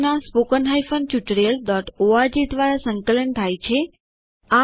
આ project httpspoken tutorialorg દ્વારા સંકલન થાય છે